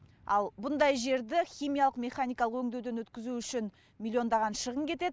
ал бұндай жерді химиялық механикалық өңдеуден өткізу үшін миллиондаған шығын кетеді